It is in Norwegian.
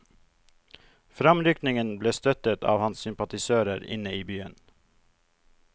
Fremrykningen ble støttet av hans sympatisører inne i byen.